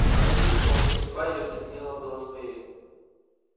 она чувствовала что судьба её соединила было с моею